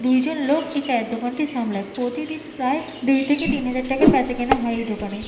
দুই জন লোক এই চায়ের দোকানটি সামলায়। প্রতিদিন প্রায় দুই থেকে তিন হাজার টাকার বেচাকেনা হয় এই দোকানে।